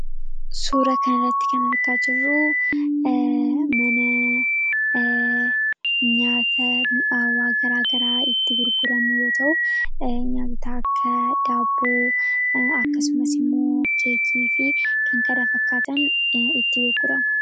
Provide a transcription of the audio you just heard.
Suura kan irratti kan argaa jirruu mana nyaata mi'aawaa garaa garaa itti gurguramu yoo ta'u nyaatota akka daaboo akkasumas immoo keekii fi kan kana fakkaatan itti gurgurama.